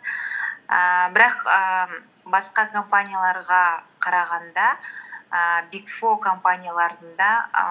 ііі бірақ ііі басқа компанияларға қарағанда ііі биг фор компанияларында і